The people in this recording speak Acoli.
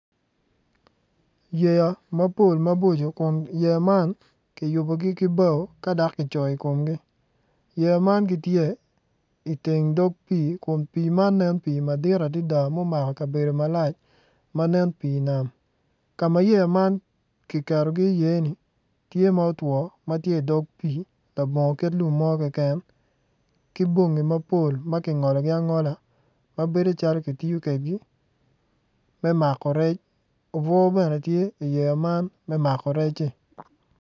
Yeya mapol maboco kun yeya man kiyubogi ki bao ka dok kicoyo ikomgi yeya man gitye iteng dog pii kun pii man nen pii madit adada ma omako kabedo malac ma nen pii nam kama yeya man kiketogi i iye ni tye ma otwo matye idog pii labongo kit lum mo keken ki bongi mapol ma kingologi angola ma bedo calo kitiyo kwedgi me mako rec obwor bene tye iyeya man me mako rec-ci